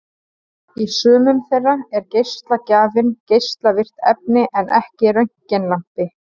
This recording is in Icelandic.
Í sumum þeirra er geislagjafinn geislavirkt efni en ekki röntgenlampi.